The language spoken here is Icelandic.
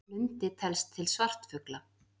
Lundi telst til svartfugla.